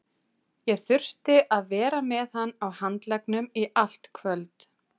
Ég þurfti að vera með hann á handleggnum í allt kvöld.